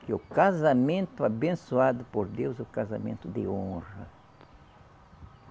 Que o casamento abençoado por Deus é o casamento de honra.